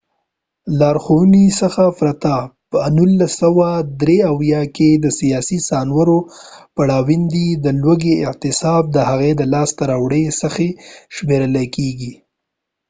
د لارښونې څخه پرته په ۱۹۷۳ کې سیاسې سانسور پروړاندې د لوږې اعتصاب د هغه د لاسته راوړنو څخه شمیرل کیږي